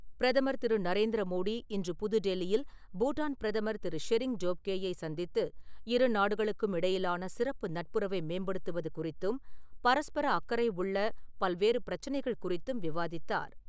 பிரதமர் திரு நரேந்திர மோடி இன்று புது டெல்லியில் பூடான் பிரதமர் திரு ஷெரிங் டோப்கேயை சந்தித்து இருநாடுகளுக்கும் இடையிலான சிறப்பு நட்புறவை மேம்படுத்துவது குறித்தும், பரஸ்பர அக்கறை உள்ள பல்வேறு பிரச்சனைகள் குறித்தும் விவாதித்தார்.